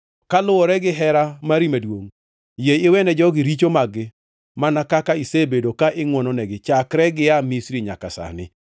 Kaluwore gihera mari maduongʼ, yie iwene jogi richo mag-gi, mana kaka isebedo ka ingʼwononegi chakre gia Misri nyaka sani.”